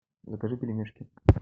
закажи пельмешки